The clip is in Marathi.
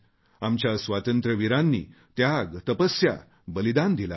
आमच्या स्वातंत्र्यवीरांनी त्याग तपस्या बलिदान दिले आहे